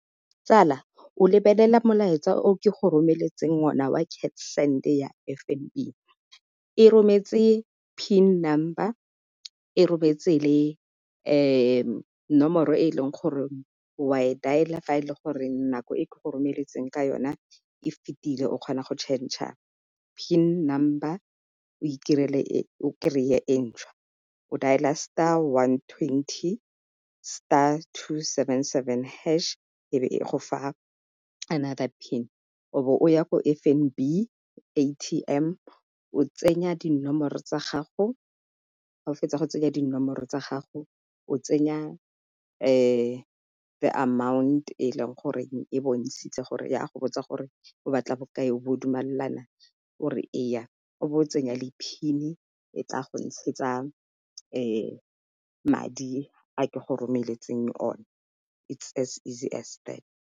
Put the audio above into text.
Tsala o lebelela molaetsa o ke go romeletseng o na wa cash send ya F_N_B, e rometse PIN number, e rometse le nomoro e leng gore wa e dialer fa e le gore nako e ke go romeletseng ka yona e fitileng o kgona go changer PIN number o itirele o kry-e e ntšhwa. O dailer star, one twenty star, two seven seven hash e be e go fa another PIN o be o ya ko F_N_B, A_T_M o tsenya dinomoro tsa gago, ga o fetsa go tsenya dinomoro tsa gago, o tsenya the amount, e leng gore e bontshitswe gore ya go botsa gore o ba tla bokae, bo o dumalana o re eya o be o tsenya le PIN e tla go ntshetsa madi a ke go romeletseng o ne, is as easy as that.